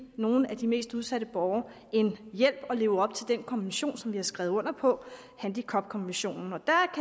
nogle af de mest udsatte borgere en hjælp og leve op til den konvention som vi har skrevet under på handicapkonventionen